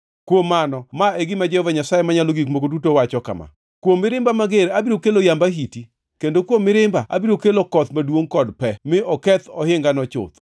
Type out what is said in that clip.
“ ‘Kuom mano, ma e gima Jehova Nyasaye Manyalo Gik Moko Duto wacho kama: Kuom mirimba mager abiro kelo yamb ahiti, kendo kuom mirimba abiro kelo koth maduongʼ kod pe mi oketh ohingano chuth.